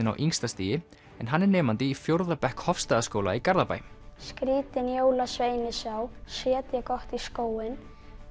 á yngsta stigi en hann er nemandi í fjórða bekk Hofsstaðaskóla í Garðabæ skrýtinn jólasvein ég sá setja gott í skóinn